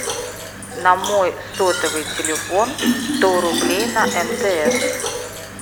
на мой сотовый телефон сто рублей на мтс